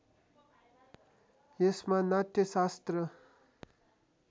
यसमा नाट्यशास्त्र